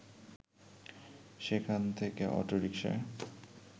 সেখান থেকে অটো রিকশায়